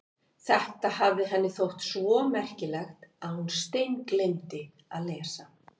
Þetta hafði henni þótt svo merkilegt að hún steingleymdi að lesa.